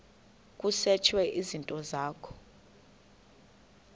kusetshwe izinto zakho